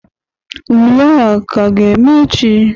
Ule a ka ga-eme echi?